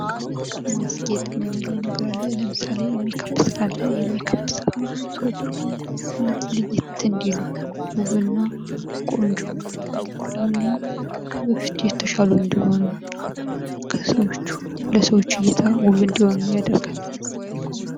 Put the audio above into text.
ማስጌጥ የምንለው ነገር አለ ለምሳሌ የሜካፕ ስራ አለ የሜካፕ ስራ ሰዎች ማለት ለየት እንዲሉ ውብና ቆንጆ እንዲሆኑ ወይም ደግሞ ከበፊቱ የተሻሉ እንዲሆኑና ለሰዎች እይታ ውብ እንደሆኑ ያደርጋል።